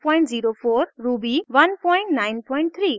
ruby 193